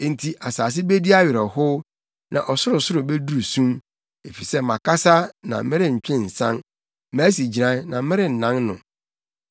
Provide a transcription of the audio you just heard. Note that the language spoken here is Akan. Enti asase bedi awerɛhow na ɔsorosoro beduru sum, efisɛ makasa na merentwe nsan; masi gyinae na merennan no.”